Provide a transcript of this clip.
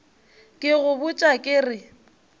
ke go botša ke re